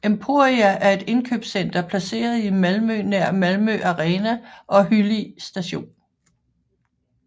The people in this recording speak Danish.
Emporia er et indkøbscenter placeret i Malmø nær Malmö Arena og Hyllie Station